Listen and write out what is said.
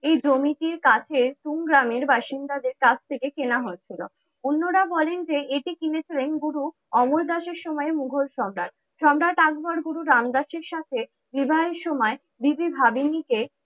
এই জমিটির কাছে পুং গ্রামের বাসিন্দাদের কাছ থেকে কেনা হয়েছিল। অন্যরা বলেন যে, এটি কিনেছিলেন গুরু অমর দাসের সময় মুঘল সম্রাট। সম্রাট আকবর গুরু রামদাসের সাথে বিবাহের সময় দিদি ভাবিনি কে